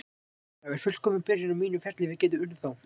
Það væri fullkomin byrjun á mínum ferli, við getum unnið þá.